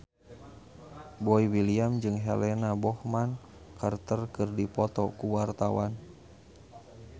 Boy William jeung Helena Bonham Carter keur dipoto ku wartawan